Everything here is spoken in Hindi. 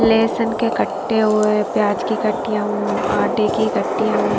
लेसन के कट्टे हुवे और प्याज की कट्टियां उ आटे की कट्टियां उ --